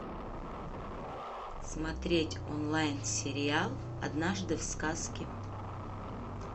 смотреть онлайн сериал однажды в сказке